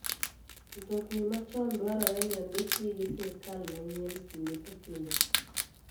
Mtokni machon dwarore ni ondikgi gi sirkal manyie kinde ka kinde.